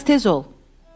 Bir az tez ol.